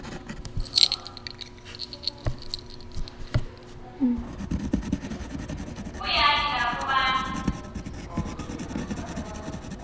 kuyati lapho bantfu